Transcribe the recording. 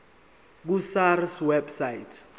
ku sars website